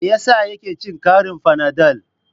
Me yasa yake cin karin fanadol?